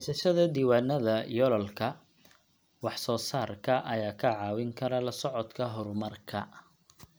Haysashada diiwaannada yoolalka wax soo saarka ayaa kaa caawin kara la socodka horumarka.